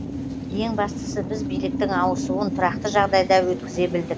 ең бастысы біз биліктің ауысуын тұрақты жағдайда өткізе білдік